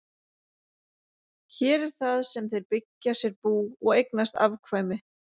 Hér er það sem þeir byggja sér bú og eignast afkvæmi.